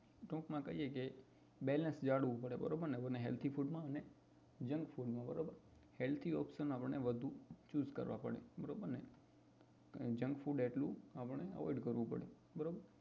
ટૂંકમાં કહીએ કે balance જાળવવું પડે આપડે healthy food and junk food માં healthy option choose કરવો પડે બરોબર ને junk food એટલું આપણે avoid કરવું પડે બરોબર